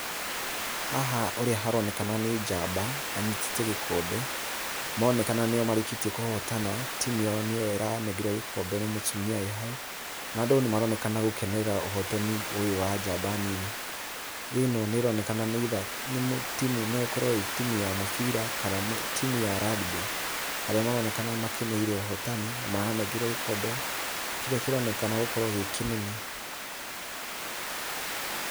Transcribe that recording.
Haha ũrĩa haronekana nĩ njamba, anyitĩte gĩkombe, maronekana nĩo marĩkĩtie kũhotana. Timu yao nĩyo ĩranengerwo gĩkombe nĩ mũtumia wĩ hau, na andũ nĩmaronekana gũkenerera ũhotani ũyũ wa njamba nini. Ĩno nĩĩronekana nĩ either nĩ timu no ĩkorwo ĩ timu ya mũbira kana timu ya rugby, harĩa maronekana makeneire ũhotani na maranengerwo gĩkombe, kĩrĩa kĩronekana gũkorwo gĩ kĩnene.